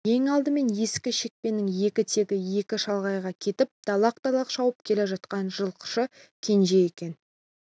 ең алдымен ескі шекпенінің екі етегі екі шалғайға кетіп далақ-далақ шауып келе жатқан жылқышы кенже екен